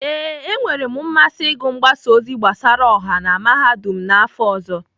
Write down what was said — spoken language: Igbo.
Ee, e nwere m mmasị ịgụ mgbasa ozi gbasara ọha na Mahadum n'afọ ọzọ.